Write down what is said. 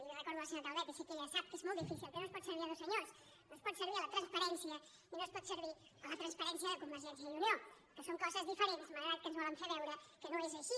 li recordo a la senyora calvet i sé que ella sap que és molt difícil que no es pot servir dos senyors no es pot servir la transparència i no es pot servir la transparència de convergència i unió que són coses diferents malgrat que ens volen fer veure que no és així